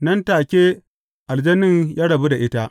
Nan take aljanin ya rabu da ita.